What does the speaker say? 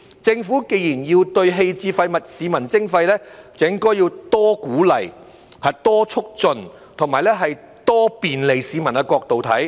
政府既然要對棄置廢物向市民徵費，就應從多鼓勵、多促進和多便利市民的角度來看。